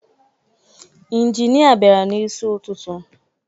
Inginịa bịara n'isi ụtụtụ